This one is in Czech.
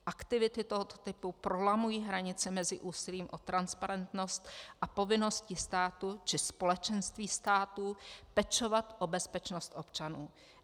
Aktivity tohoto typu prolamují hranice mezi úsilím o transparentnost a povinností státu či společenství států pečovat o bezpečnost občanů.